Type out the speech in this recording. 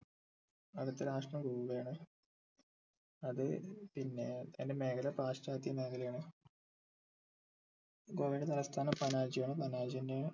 അടുത്ത രാഷ്ട്രം ഗോവ ആണ് അത് പിന്നെ അയിൻ്റെ മേഖല പാശ്ചാത്യ മേഖല ആണ് ഗോവയുടെ തലസ്ഥാനം പനാജി ആണ് പനാജി തന്നെയാണ്